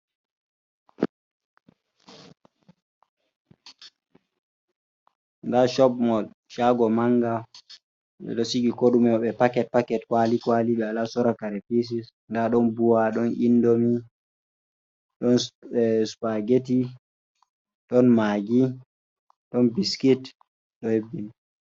Nda shop mol, shaago manga. Ɓe ɗo sigi ko ɗume maɓɓe paket-paket, kwaali-kwaali, ɓe wala sora kare pises. Nda ɗon buwa, ɗon indomi, ɗon spageti, ɗon magi, ɗon biskit, ɗo hebbini.